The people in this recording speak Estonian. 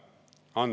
Austatud kolleegid!